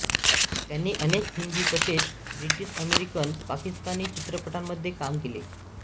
त्यांनी अनेक हिंदी तसेच ब्रिटिश अमेरिकन पाकिस्तानी चित्रपटांमध्ये काम केले